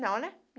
Não, né.